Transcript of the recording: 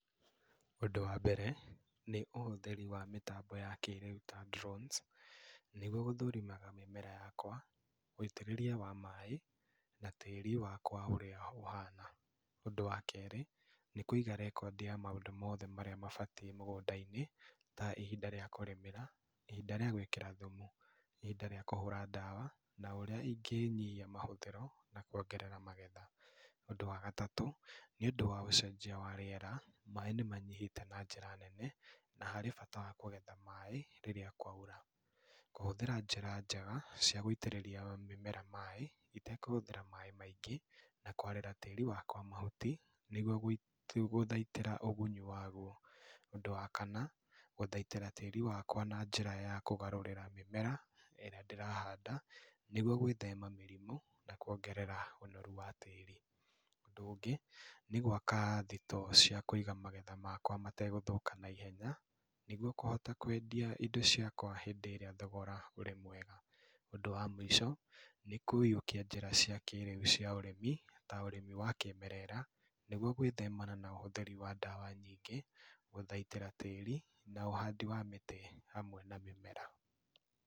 Ũndũ wa mbere, nĩũhũthĩri wa mĩtambo ya kĩrĩũ ta drones nĩguo gũthũrimaga mĩmera yakwa, wĩitĩrĩria wa maĩ na tĩri wakwao ũrĩa ũhana, ũndũ wa kerĩ nĩkũiga rekondi ya maũndũ mothe marĩa mabatie mũgũndainĩ ta ihinda rĩa kũrĩmĩra, ihinda rĩa gũĩkĩra thumu, ihinda rĩa kũhũra ndawa na ũrĩa ingĩnyihia mahũthĩro na kũongerera magetha, ũndũ wa gatatũ nĩũndũ wa ũcenjia wa rĩera, maĩ nĩmanyihĩte na njĩra nene na harĩ bata wa kũgetha maĩ rĩrĩa kwaura kũhũthĩra njĩra njega cia gũitĩrĩria mĩmera maĩ itekũhũthĩra maĩ maingĩ na kwarĩra tĩri wakwa mahuti nĩguo kũthaitĩra ũguni wauwo, ũndũ wa kanna gũthaitĩra tĩri wakwa na njĩra ya kũgarũrĩra mĩmera ĩríĩ ndĩrahanda nĩguo gwĩthema mĩrimũ na kwongerera ũnoru wa tĩri, ũndũ ũngĩ nĩ gwaka thito cia kũiga magetha makwa matekũthũka naihenya nĩguo kũhota kwendia indo ciakwa hindĩ ĩrĩa thogora ũrĩ mwega, ũndũ wa mũico nĩ kũiyũkia njĩra cia kĩrĩu cia ũrĩmi ta ũrĩmi wa kĩmerera, nĩguo gwĩthema na ũhũthĩri wa ndawa nyingĩ, gũthaitĩra tĩri na ũhandĩ wa mĩtĩ hamwe na mĩmera.